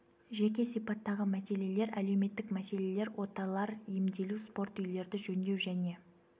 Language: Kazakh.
жеке сипаттағы мәселелер әлеуметтік мәселелер оталар емделу спорт үйлерді жөндеу және